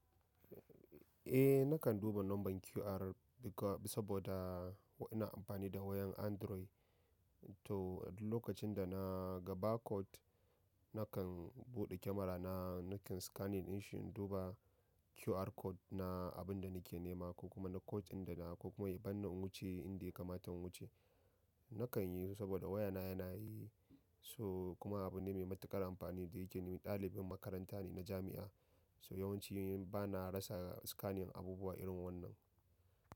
Eh nakan duba laman QR saboda ko ina amfani da wayar android to lokacin da na ga barcode nakan buɗe kyamara na nakan scanning in shi in duba QR code na abin da nake nema ko kuma na kotun da na ko kuma ya bani in wuce inda ya kamata in wuce. Nakan yi saboda wayana yana yi. So kuma abu ne mai matuƙar amfani da yake yi. Ɗalibin makaranta ne na jami'a so yawanci bana rasa scanning abubuwa irin wannan.